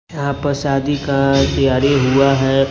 यहां पर शादी का तैयारी हुआ है।